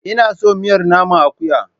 Ina son miyar naman akuya.